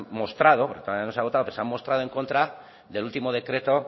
mostrado todavía no se ha votado pero se han mostrado en contra del último decreto